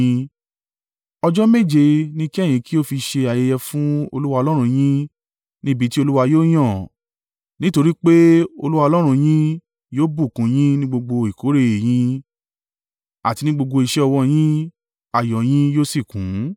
Ọjọ́ méje ni kí ẹ̀yin kí ó fi ṣe ayẹyẹ fún Olúwa Ọlọ́run yín ní ibi tí Olúwa yóò yàn. Nítorí pé Olúwa Ọlọ́run yín yóò bùkún un yín ní gbogbo ìkórè e yín, àti ní gbogbo iṣẹ́ ọwọ́ yín, ayọ̀ ọ yín yóò sì kún.